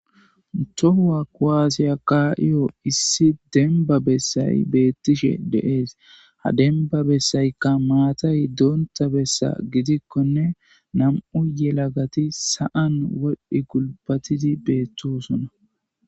Tohuwaa kuwaasiya kaa7iyo issi dembba bessay beeththishe de7ees; ha dembba bessaykka maatay donththa besa gidikkonne nam7u yelagathi sa7an wodhdhi gulbbathidi beeththoosona.